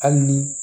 Hali ni